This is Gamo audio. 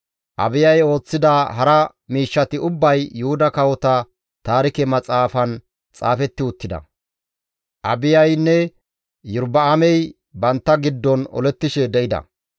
Abiyay ooththida hara miishshati ubbay Yuhuda kawota taarike maxaafan xaafetti uttida. Abiyaynne Iyorba7aamey bantta giddon olettishe de7ida.